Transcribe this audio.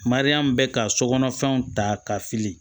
mariya min be ka sokɔnɔ fɛnw ta ka fili